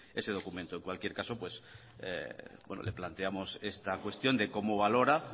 ese documento en cualquier caso le planteamos esta cuestión de cómo valora